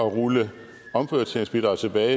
at rulle omprioriteringsbidraget tilbage